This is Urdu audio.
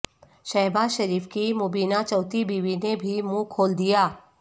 شہباز شریف کی مبینہ چوتھی بیوی نے بھی منہ کھول دیا